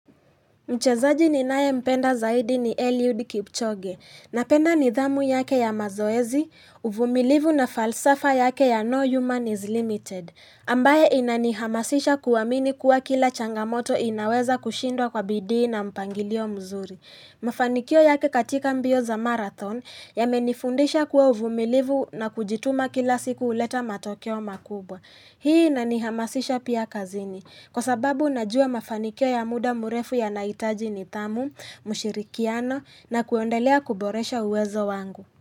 Mchezaji ninayempenda zaidi ni Eliud Kipchoge, napenda nidhamu yake ya mazoezi, uvumilivu na falsafa yake ya No Human is Limited, ambaye inanihamasisha kuamini kuwa kila changamoto inaweza kushindwa kwa bidii na mpangilio mzuri. Mafanikio yake katika mbio za marathon yamenifundisha kuwa uvumilivu na kujituma kila siku huleta matokeo makubwa. Hii inanihamasisha pia kazini kwa sababu najua mafanikio ya muda mrefu yanahitaji nidhamu, mshirikiano na kuendelea kuboresha uwezo wangu.